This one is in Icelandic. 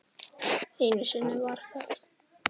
Einu sinni var það